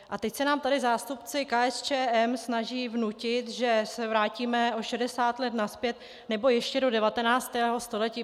A teď se nám tady zástupci KSČM snaží vnutit, že se vrátíme o 60 let nazpět, nebo ještě do 19. století.